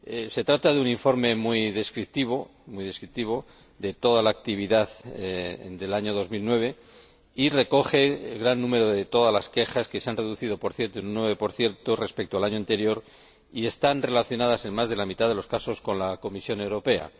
Se trata de un informe muy descriptivo de toda la actividad del año 2009 y recoge gran número de todas las quejas, que se han reducido, por cierto, en un 9 respecto al año anterior, y están relacionadas, en más de la mitad de los casos, con la Comisión Europea.